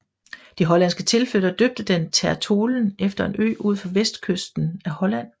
De hollandske tilflyttere døbte den Ter Tholen efter en ø ud for vestkysten af Holland